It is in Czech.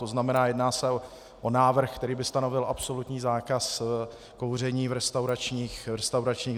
To znamená, jedná se o návrh, který by stanovil absolutní zákaz kouření v restauračních zařízeních.